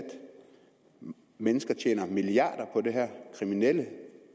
mennesker tjener milliarder på det her kriminelle